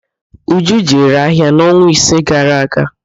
Uju jere ahịa n'ọnwa ise gara aga.